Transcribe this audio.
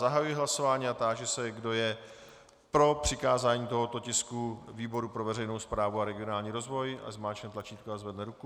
Zahajuji hlasování a táži se, kdo je pro přikázání tohoto tisku výboru pro veřejnou správu a regionální rozvoj, ať zmáčkne tlačítko a zvedne ruku.